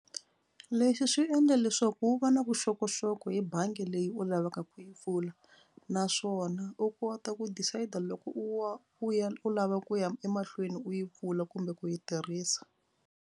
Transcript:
Leswi swi endla leswaku u va na vuxokoxoko hi bangi leyi u lavaka ku yi pfula naswona u kota ku decide-a loko u wa u ya u lava ku ya emahlweni u yi pfula kumbe ku yi tirhisa.